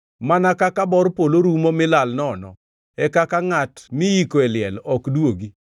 Mana kaka bor polo rumo mi lal nono, e kaka ngʼat miyiko e liel ok duogi.